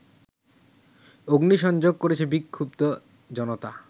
অগ্নিসংযোগ করেছে বিক্ষুব্ধ জনতা